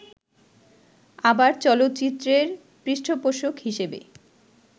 আবার চলচ্চিত্রের পৃষ্ঠপোষক হিসেবে